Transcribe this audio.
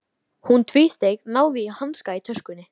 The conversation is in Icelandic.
Hún tvísteig, náði í hanska í töskunni.